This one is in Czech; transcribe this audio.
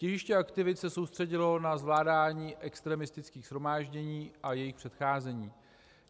Těžiště aktivit se soustředilo na zvládání extremistických shromáždění a jejich předcházení.